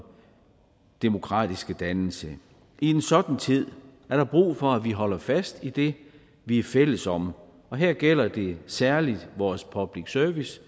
demokratiske dannelse i en sådan tid er der brug for at vi holder fast i det vi er fælles om og her gælder det særlig vores public service